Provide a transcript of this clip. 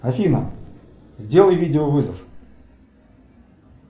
афина сделай видео вызов